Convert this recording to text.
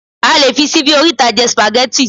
a lè fi síbi oríta je spaghetti